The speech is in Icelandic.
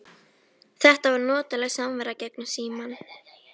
Þetta var notaleg samvera gegnum símann.